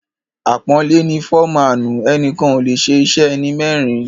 Àpọ́nlé ni ‘‘Fọ́maànù’’; ẹnìkan ò lè ṣe iṣẹ́ ẹni mẹ́rin.